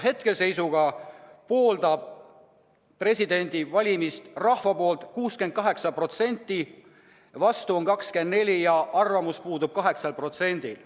Hetke seisuga pooldab presidendi valimist rahva poolt 68%, vastu on 24% ja arvamus puudub 8%-l.